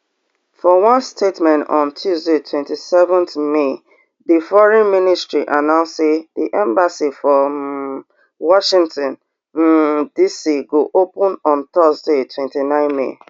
for one statement on tuesday twenty-seven may di foreign ministry announce say di embassy for um washington um dc go open on thursday twenty-nine may